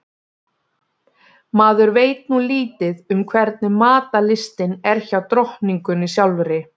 Maður veit nú lítið um hvernig matarlystin er hjá drottningunni sjálfri.